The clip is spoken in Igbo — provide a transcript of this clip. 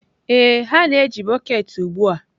Ee, ha na-eji bọket ugbu a.